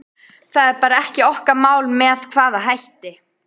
Það er bara ekki okkar mál með hvaða hætti